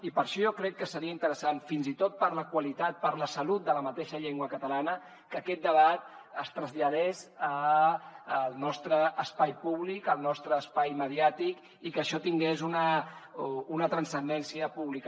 i per això jo crec que seria interessant fins i tot per la qualitat per la salut de la mateixa llengua catalana que aquest debat es traslladés al nostre espai públic al nostre espai mediàtic i que això tingués una transcendència pública